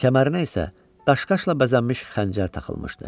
Kəmərinə isə daşqaşla bəzənmiş xəncər taxılmışdı.